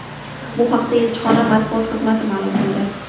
Bu haqda elchixona matbuot xizmati ma’lum qildi.